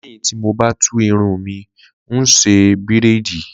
Lé̩yìn tí mo bá tú irun mi, n óò s̩e bíréèdì